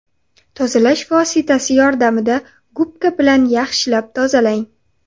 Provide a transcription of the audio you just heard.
Tozalash vositasi yordamida gubka bilan yaxshilab tozalang.